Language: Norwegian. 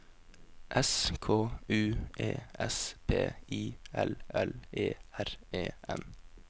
S K U E S P I L L E R E N